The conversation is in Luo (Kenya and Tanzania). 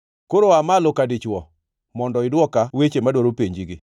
Koro aa malo ka dichwo; mondo idwoka weche, madwaro penjigi.